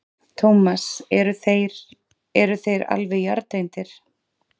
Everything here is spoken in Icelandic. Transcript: Tómas: Eru þeir, eru þeir alveg jarðtengdir?